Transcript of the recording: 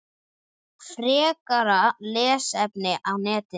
Frekara lesefni á netinu